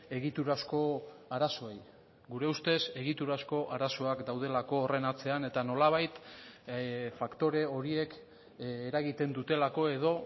egiturazko arazoei gure ustez egiturazko arazoak daudelako horren atzean eta nolabait faktore horiek eragiten dutelako edo